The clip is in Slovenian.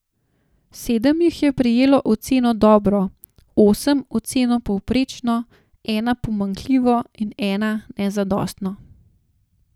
Sedem jih je prejelo oceno dobro, osem oceno povprečno, ena pomanjkljivo in ena nezadostno.